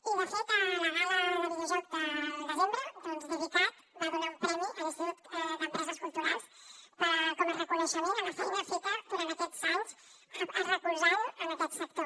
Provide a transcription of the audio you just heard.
i de fet a la gala de videojocs del desembre doncs devicat va donar un premi a l’institut català de les empreses culturals com a reconeixement a la feina feta durant aquests anys recolzant aquest sector